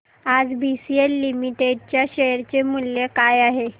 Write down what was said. आज BCL limited च्या share चे मूल्य काय आहे